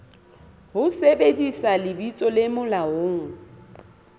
ho sebedisa lebitso le molaong